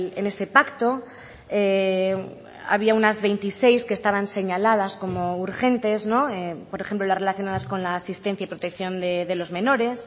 en ese pacto había unas veintiséis que estaban señaladas como urgentes por ejemplo las relacionadas con la asistencia y protección de los menores